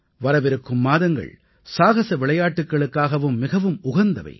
வரவிருக்கும் மாதங்கள் சாகஸ விளையாட்டுக்களுக்காகவும் மிகவும் உகந்தவை